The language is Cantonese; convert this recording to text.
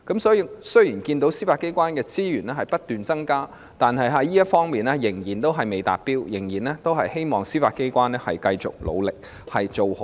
雖然我們看到司法機構的資源不斷增加，但這方面仍然未達標，我們希望司法機構能繼續努力，保持水準。